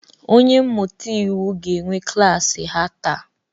Onye mmụta iwu ga-enwe klaasị ha taa